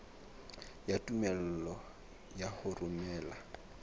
ya tumello ya ho romela